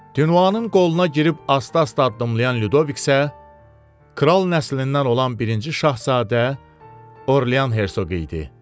Dinuvanın qoluna girib asta-asta addımlayan Lyudovik isə kral nəslindən olan birinci şahzadə Orlyan hersoqu idi.